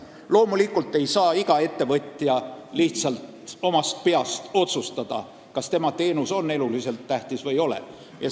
Loomulikult ei saa iga ettevõtja lihtsalt omast peast otsustada, kas tema teenus on eluliselt tähtis või ei ole.